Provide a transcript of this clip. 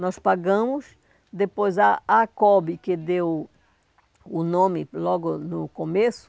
Nós pagamos, depois a ACOB, que deu o nome logo no começo,